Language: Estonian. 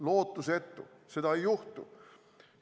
Lootusetu, seda ei juhtu.